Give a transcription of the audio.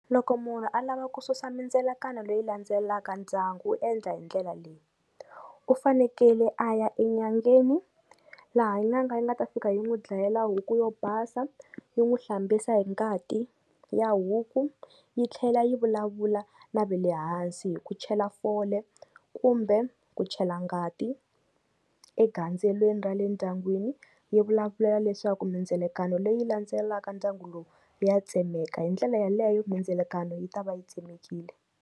Loko munhu a lava ku susa mindzelakano leyi landzelaka ndyangu u endla hi ndlela leyi, u fanekele a ya enyangeni, laha nyanga yi nga ta fika yi n'wi dlayela huku yo basa, yi n'wi hlambisa hi ngati ya huku, yi tlhela yi vulavula na ve le hansi hi ku chela fole, kumbe ku chela ngati egandzelweni ra le ndyangwini, yi vulavulela leswaku mindzilekano leyi landzelaka ndyangu lowu ya tsemeka hi ndlela yaleyo mindzilekano yi ta va yi tsemekile.